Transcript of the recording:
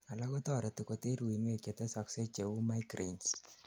alak ko toreti koter uinwek chetesoksei cheu migraines